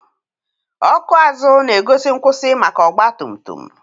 ọkụ azụ na-egosi nkwụsị maka ọgba tum tum.